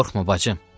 Qorxma bacım.